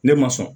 Ne ma sɔn